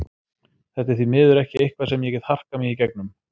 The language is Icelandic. Þetta er því miður ekki eitthvað sem ég get harkað mig í gegnum.